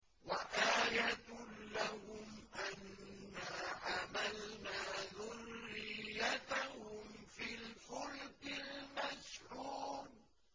وَآيَةٌ لَّهُمْ أَنَّا حَمَلْنَا ذُرِّيَّتَهُمْ فِي الْفُلْكِ الْمَشْحُونِ